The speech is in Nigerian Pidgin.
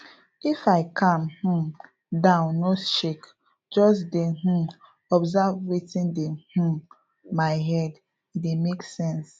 if i calm um down no shake just dey um observe wetin dey um my head e dey make sense